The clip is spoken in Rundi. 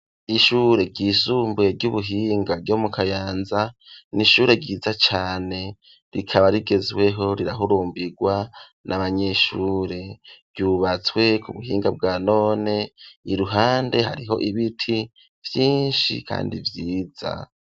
Ishure ryisumbuye ry'ubuhinga ryo mu Kayanza n'ishure ryiza cane ,rikaba rigezweho rirahurumbirwa n'abanyeshure ,ryubatswe ku buhinga bwa none ,iruhande hariho ibiti vyinshi kandi vyiza.